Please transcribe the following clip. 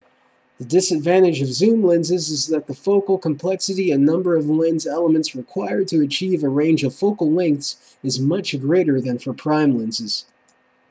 the disadvantage of zoom lenses is that the focal complexity and number of lens elements required to achieve a range of focal lengths is much greater than for prime lenses